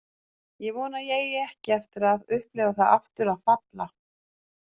Ég vona að ég eigi ekki eftir að upplifa það aftur að falla.